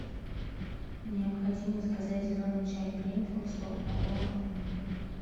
необходимо заказать зеленый чай гринфилд сто упаковок на дом